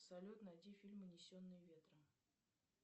салют найди фильм унесенные ветром